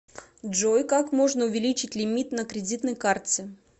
джой как можно увеличить лимит на кредитной карте